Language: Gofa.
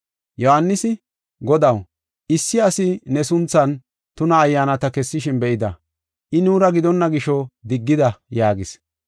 Yohaanisi, “Godaw, issi asi ne sunthan tuna ayyaanata kessishin be7idi, I nuura gidonna gisho diggida” yaagis.